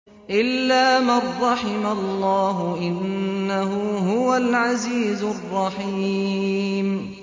إِلَّا مَن رَّحِمَ اللَّهُ ۚ إِنَّهُ هُوَ الْعَزِيزُ الرَّحِيمُ